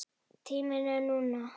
Tíminn er núna.